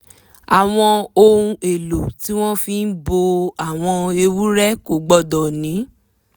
àwọn ohun èlò tí wọ́n fi bo àwọn ewúrẹ́ kò gbọ́dọ̀ ní